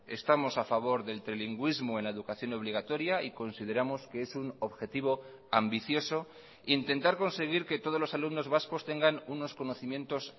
estamos a favor del trilingüismo en la educación obligatoria y consideramos que es un objetivo ambicioso intentar conseguir que todos los alumnos vascos tengan unos conocimientos